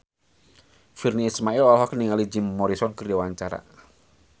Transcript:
Virnie Ismail olohok ningali Jim Morrison keur diwawancara